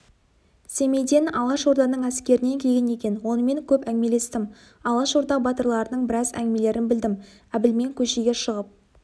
семейден алашорданың әскерінен келген екен онымен көп әңгімелестім алашорда батырларының біраз әңгімелерін білдім әбілмен көшеге шығып